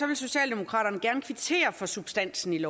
vil socialdemokraterne gerne kvittere for substansen i